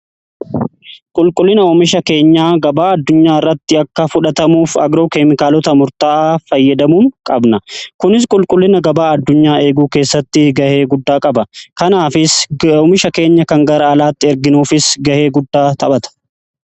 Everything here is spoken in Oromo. Qulqullina oomisha keenyaa gabaa addunyaa irratti akka fudhatamuuf agroo keemikaalota murtaa'aa fayyadamuu qabna. Kunis qulqullina gabaa addunyaa eeguu keessatti gahee guddaa qaba. Kanaafis oomisha keenya kan gara alaatti erginuufis gahee guddaa taphata.